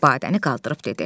Badəni qaldırıb dedi: